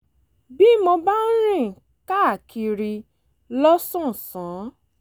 bí mo bá ń rìn káàkiri lọ́sàn-án